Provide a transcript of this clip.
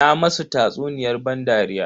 Na masu tsatsuniyar ban dariya.